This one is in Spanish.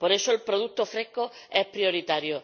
Por eso el producto fresco es prioritario.